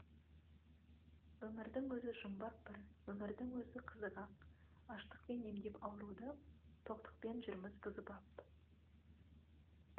өмірдің өзі жұмбақ бір өмірдің өзі қызық ақ аштықпен емдеп ауруды тоқтықпен жүрміз бұзып ап